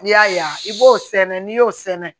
N'i y'a yan i b'o sɛnɛ n'i y'o sɛnɛ